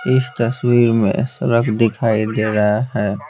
इस तस्वीर में सड़क दिखाई दे रहा है।